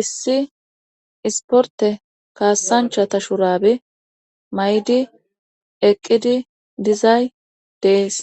Issi isporte kaassancha ta shuraabi may7di eqqidi dizay dees